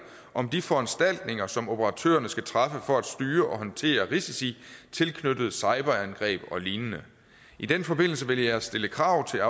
om de foranstaltninger som operatørerne skal træffe for at styre og håndtere risici tilknyttet cyberangreb og lignende i den forbindelse vil jeg stille krav til